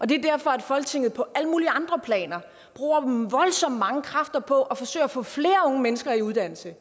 det er derfor at folketinget på alle mulige andre planer bruger voldsomt mange kræfter på at forsøge at få flere unge mennesker i uddannelse